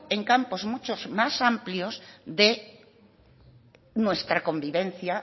en campos mucho más amplios de nuestra convivencia